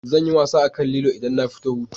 Zanyi wasa akan lilo idan na fito hutu